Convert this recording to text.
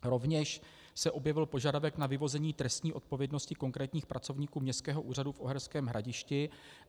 Rovněž se objevil požadavek na vyvození trestní odpovědnosti konkrétních pracovníků Městského úřadu v Uherském Hradišti.